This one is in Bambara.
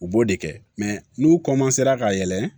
U b'o de kɛ n'u ra ka yɛlɛ